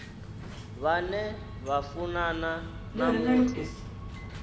vhane vha funana na muthu